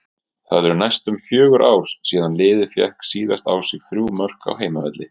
Það eru næstum fjögur ár síðan liðið fékk síðast á sig þrjú mörk á heimavelli.